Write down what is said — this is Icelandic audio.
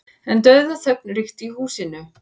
En dauðaþögn ríkti í húsinu.